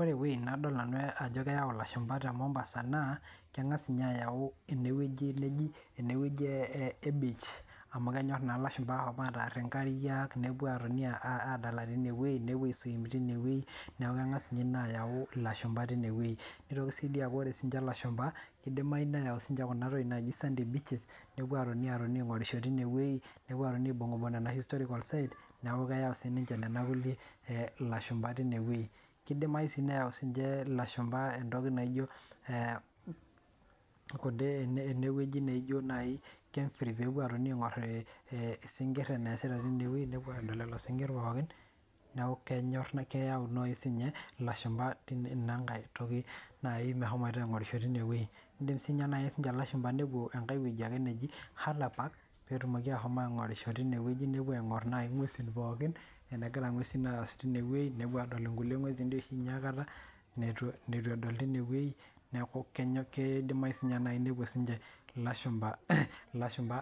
Ore ewei nadol nanu ajo kayau ilashumpa te Mombasa naa keng'as inye ayau ene weji neji ene weji ee beach amu kenyorr naa ilashumpa atarr inkariak nepuo aatoni adal te newei nepuo ai swim teinewei neeku keng'as inye ina ayau ilashumpa teine wei neitoki sii dii aaku ore inye ilashumpa keidiamayu neyau sinche ena toki naji sandy beaches nepuo atoni aing'orisho teine wei nepuo aatoni aibung'ibung' nena historical sites neeku keyau sininche nena kulie ilashumpa teine wei keidiamayu sii neyau sininche ilashumpa ntoki naijo eneweji naijo nayii peepuo atoni aing'or isinkirr eneasita tinewei nepuo aadol lelo sinkirr pookin neeku kenyorr keyaw nayii sinye ilashumpa ina nkae toki nayii meshomoita aing'orisho teinewei indimm nayii sinye ilashumpa nepuo enkae weji aki neji Hala Park peetumoki ashomoita aing'orisho teine weji nepuo aing'orr nayii ing'wesin pookin enegira ing'wesin aas teinewei nepuo aadol inkulie ng'wesin diii oshi inye aikata neitu edol teinewei neeku kedimayi sinye naai nepuo sinche ilashumpa